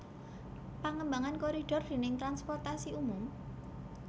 Pangembangan koridor dèning transportasi umum